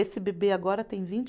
Esse bebê agora tem vinte